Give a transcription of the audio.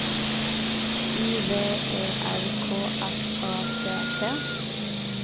I V E R K S A T T